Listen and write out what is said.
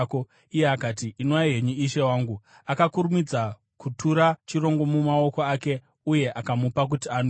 Iye akati, “Inwai henyu, ishe wangu,” akakurumidza kutura chirongo mumaoko ake uye akamupa kuti anwe.